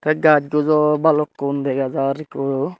gaj guj u bhalukkun dega jar ekku.